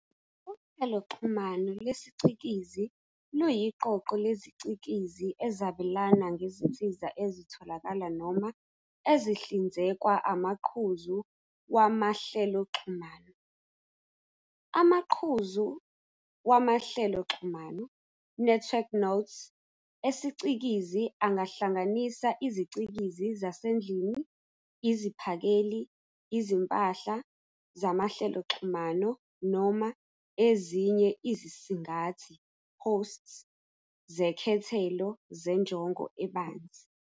Uhleloxhumano lesiCikizi luyiqoqo leziCikizi ezabelana ngezinsiza ezitholakala noma ezihlinzekwa amaqhuzu wamahleloxhumano. Amaqhuzu wamahleloxhumano "network nodes" esicikizi angahlanganisa izicikizi zasendlini, iziphakeli, izimpahla zamahleloxhumano, noma ezinye izisingathi "hosts" zekhethelo zenjongo ebanzi.